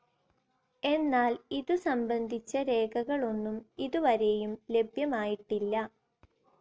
എന്നാൽ ഇതു സംബന്ധിച്ച രേഖകളൊന്നും ഇതു വരേയും ലഭ്യമായിട്ടില്ല.